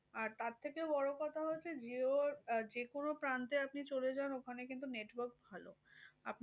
আর তার থেকেও বড় কথা হচ্ছে jio আহ যেকোনো প্রান্তে আপনি চলে যান ওখানে কিন্তু network ভালো। আপনি